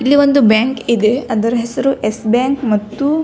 ಇಲ್ಲಿ ಒಂದು ಬ್ಯಾಂಕ್ ಇದೆ ಅದರ ಹೆಸರು ಎಸ್ಸ್ ಬ್ಯಾಂಕ್ ಮತ್ತು --